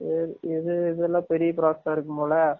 சரி இது இதுலாம் பெரிய process ஆ இருக்கும் போல